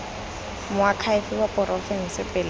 moakhaefe wa porofense pele ga